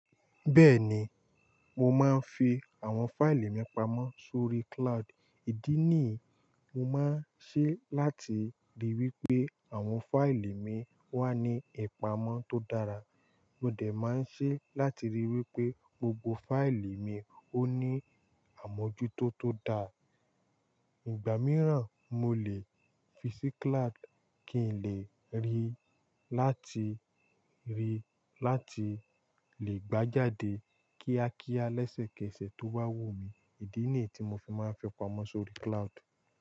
Bẹ́ẹ̀ni, mo máa ń fi àwọn fáìlì mi pamọ́ sórí cloud. Ìdí nìí, mo máa ń ṣe láti ríi wípé àwọn fáìlì mi wà ní ìpamọ́ tó dára. Mo dẹ̀ máa ń ṣe láti ríi wípé gbogbo fáìlì mi ó ní àmójútó tó dáa. Ìgbà mìíràn, mo lè fi sí cloud kí n lè rí i láti rí i láti lè gbá jáde kíákíá lẹ́sẹ̀kẹsẹ̀ tó bá wù mí. Ìdí nìí tí mo fi máa ń fi pamọ́ sórí cloud.